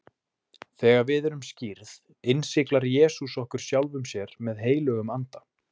Þegar við erum skírð, innsiglar Jesús okkur sjálfum sér með heilögum anda.